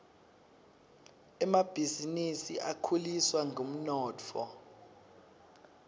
emabhisinisi akhuliswa ngumnotfo